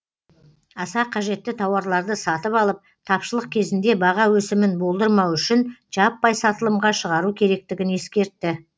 аса қажетті тауарларды сатып алып тапшылық кезінде баға өсімін болдырмау үшін жаппай сатылымға шығару керектігін ескертті